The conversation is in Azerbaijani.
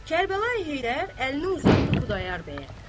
Kərbəlayı Heydər əlini uzatdı Xudayar bəyə.